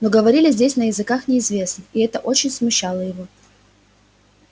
но говорили здесь на языках неизвестных и это очень смущало его